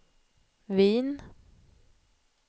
Wien